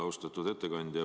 Austatud ettekandja!